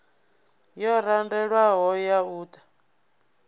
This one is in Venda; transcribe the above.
yo randelwaho ya u ta